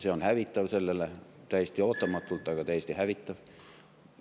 See on hävitav – täiesti ootamatult, aga täiesti hävitav.